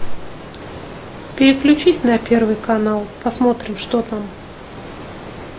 переключись на первый канал посмотрим что там